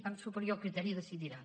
amb superior criteri decidirà